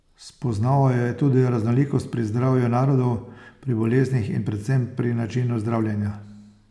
Spoznaval je tudi raznolikost pri zdravju narodov, pri boleznih in predvsem pri načinu zdravljenja.